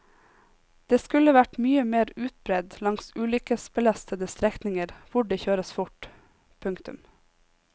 Det skulle vært mye mer utbredt langs ulykkesbelastede strekninger hvor det kjøres fort. punktum